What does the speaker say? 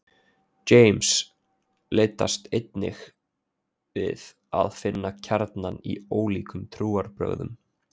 James leitast einnig við að finna kjarnann í ólíkum trúarbrögðum.